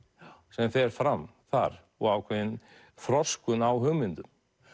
sem fer fram þar og ákveðinn þroskun á hugmyndum